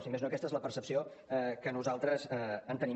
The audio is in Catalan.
si més no aquesta és la percepció que nosaltres en tenim